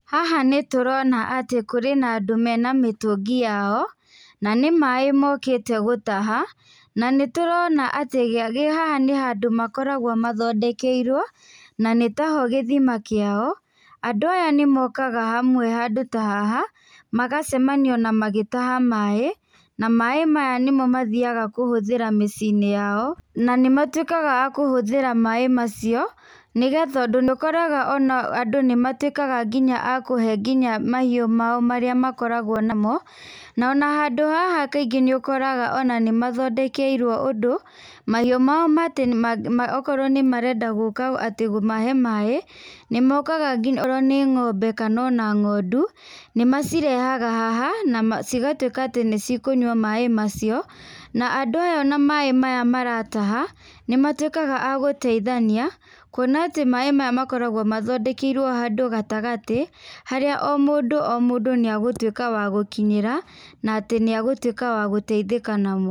Haha nĩtũrona atĩ hena andũ mena mĩtũngi yao na nĩ maĩ mokĩte gũtaha na nĩtũrona atĩ haha nĩ handũ makoragwo mahondekeirwo na nĩtaho gĩthima kĩao. Andũ aya nĩmokaga hamwe handũ ta haha magacemania magĩtaha maĩ na maĩ maya nĩmo mathiaga gũtũmĩra mĩciĩ-inĩ yao na nĩmatuĩkaga akũhũthĩra maĩ macio nĩgetha ũndũ ona nĩũkoraga ona andũ nĩmatuĩkaga nginya a kũhe nginya mahiũ mao marĩa makoragwo namo na ona handũ haha kaingĩ nĩ ũkoraga nĩmathondekerwo ũndũ ona mahiũ mao ona okorwo nĩmarenda gũka atĩ kũmahe maĩ, nĩmoka nginya okorwo nĩ ng'ombe kona ona ng'ondu, nĩmacirehaga haha nacigatuĩka ati nĩcikũnyua maĩ macio na andũ aya ona maĩ maya marataha nĩmatuĩkaga agũteithania, kuona atĩ maĩ maya makoragwo mathondekeirwo handũ gatagatĩ, harĩa o mũndũ o mũndũ nĩegũtuĩka wa gũkinyĩra na atĩ nĩegũtuĩka wa gũteithĩka namo.